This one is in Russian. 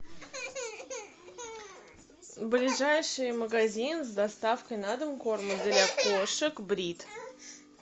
ближайший магазин с доставкой на дом корма для кошек брит